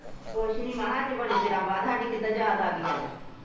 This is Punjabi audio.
ਕੁੱਜ ਨੀ ਮਾਹਾ ਅੱਜ ਬੜੇ ਚਿਰਾਂ ਬਾਦ ਸਾਡੀ ਕਿਦਾਂ ਯਾਦ ਆਗੀ ਅੱਜ